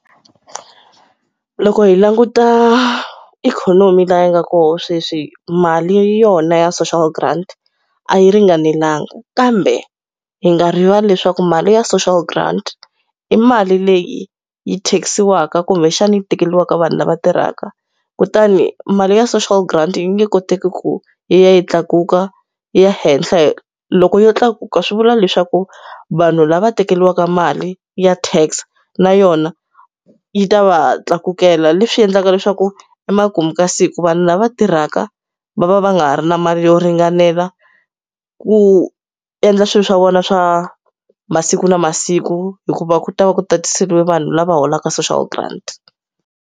Loko hi languta ikhonomi laha yi nga kona sweswi mali yona ya social grant a yi ringanelanga. Kambe hi nga rivali leswaku mali ya social grant, i mali leyi yi tax-iwaka kumbexani yi tekeriwaka vanhu lava tirhaka. Kutani mali ya social grant yi nge koteki ku yi ya yi tlakuka, yi ya henhla . Loko yo tlakuka swi vula leswaku vanhu lava tekeriwaka mali ya tax na yona yi ta va tlakukela. Leswi endlaka leswaku emakumu ka siku vanhu lava tirhaka va va va nga ha ri na mali yo ringanela ku endla swilo swa vona swa masiku na masiku, hikuva ku ta va ku tatiseriwe vanhu lava holaka social grant.